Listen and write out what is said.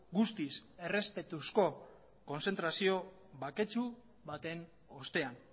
guztiz errespetuzko kontzentrazio baketsu baten ostean